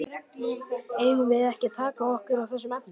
Eigum við ekki að taka okkur á í þessum efnum?